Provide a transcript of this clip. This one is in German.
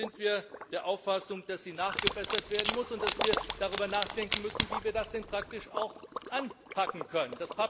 Deshalb sind wir der Auffassung, dass sie nachgebessert werden muss, und dass wir darüber nachdenken müssen, wie wir das denn praktisch auch anpacken können.